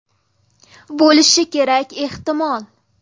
Bo‘lishi kerak ehtimol.